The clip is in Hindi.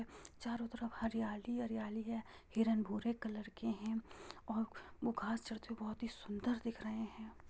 चारों तरफ हरियाली-हरियाली है हिरण भूरे कलर के है और वो घास चरते हुए बोहोत ही सुंदर दिख रहे हैं।